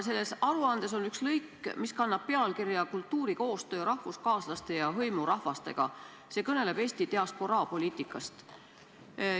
Selles aruandes on üks lõik, mis kannab pealkirja "Kultuurikoostöö rahvuskaaslaste ja hõimurahvastega", see kõneleb Eesti diasporaapoliitikast.